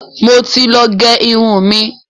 mọ tí lọ gé irun mí.